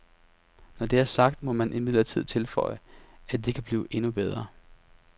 Når det er sagt, må man imidlertid tilføje, at det kan blive endnu bedre.